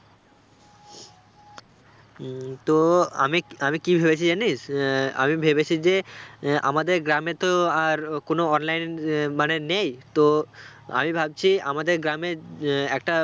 উম তো আমি আমি কি ভেবেছি জানিস্, আহ আমি ভেবেছি যে আহ আমাদের গ্রামে তো আর কোনও online এ মানে নেই তো আমি ভাবছি আমাদের গ্রামে আহ একটা